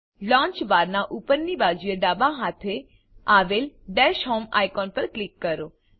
launcher bar નાં ઉપરની બાજુએ ડાબા હાથે આવેલ ડેશ હોમ આઇકોન પર ક્લિક કરો